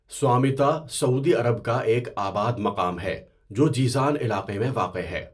Samtah Saudi Arab کا ایک آباد مقام ہے جو جِیزان علاقہ میں واقع ہے۔